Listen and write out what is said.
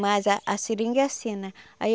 Mas a a seringa é assim, né? Aí